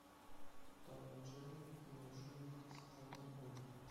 том и джерри и волшебник из страны оз